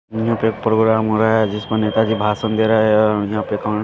यहाँ पे प्रोग्राम हो रहा है जिस पर नेता जी भाषण दे रहा है यहाँ पे क--